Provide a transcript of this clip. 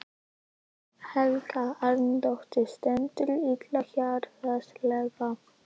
Helga Arnardóttir: Stendurðu illa fjárhagslega?